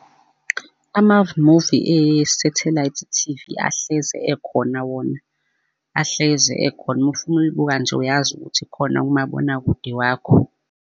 Amamuvi esethelayithi T_V ahlezi ekhona wona, ahlezi ekhona, uma ufuna ukulibuka nje uyazi ukuthi khona umabonakude wakho.